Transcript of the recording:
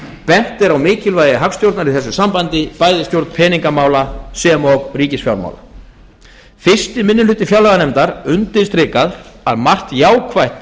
bent er á mikilvægi hagstjórnar í þessu sambandi bæði stjórn peningamála og ríkisfjármála fyrsti minni hluti fjárlaganefndar undirstrikar að margt jákvætt